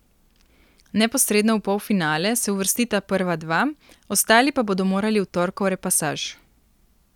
Neposredno v polfinale se uvrstita prva dva, ostali pa bodo morali v torkov repasaž.